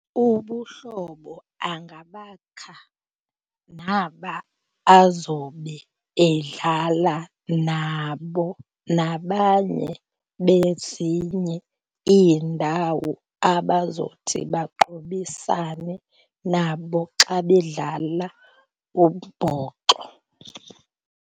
Ubuhlobo angabakha naba azobe edlala nabo nabanye bezinye iindawo abazothi baqhubisane nabo xa bedlala umbhoxo.